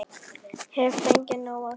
Hef fengið nóg af þeim.